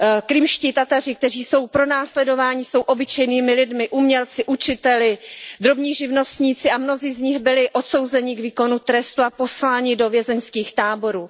Krymští Tataři, kteří jsou pronásledováni, jsou obyčejnými lidmi, umělci, učiteli, drobnými živnostníky a mnozí z nich byli odsouzeni k výkonu trestu a posláni do vězeňských táborů.